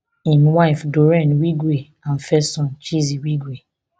im wife doreen wigwe and first son chizi wigwe